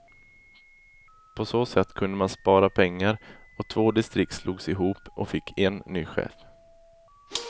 På så sätt kunde man spara pengar och två distrikt slogs ihop och fick en ny chef.